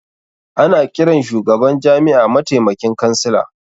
Ana ƙiran shugaban jami'a matamaikin kansila